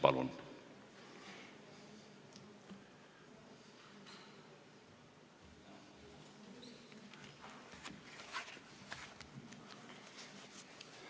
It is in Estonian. Palun!